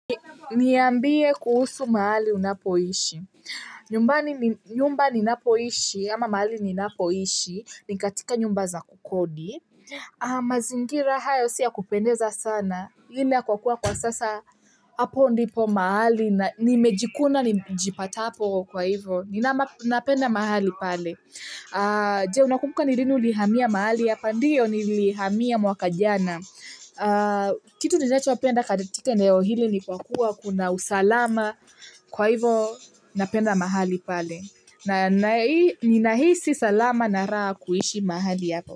Niambie kuhusu mahali unapoishi, nyumba ninapoishi, ama mahali ninapoishi, nikatika nyumba za kodi. Mazingira hayo si yakupendeza sana, hi ni ya kwa kuwa kwa sasa hapo ndipo mahali na nimejikuna nijipatapo kwa hivo ninapenda mahali pale je unakumbuka ni lini ulihamia mahali hapa ndio nilihamia mwaka jana kitu ninacho penda katika eneo hili ni kwa kuwa kuna usalama kwa hivo ninapenda mahali pale na ninahisi salama na raha kuishi mahali hapo.